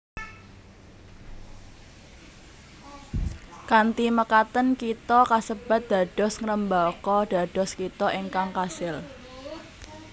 Kanthi mekaten kitha kasebat dados ngrembaka dados kitha ingkang kasil